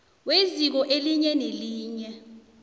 kweziko elinye nelinye